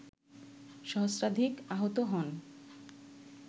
সহস্রাধিক আহত হন